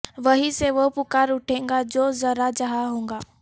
وہیں سے وہ پکار اٹھے گا جو ذرہ جہاں ہوگا